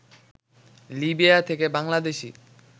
Libya থেকে বাংলাদেশি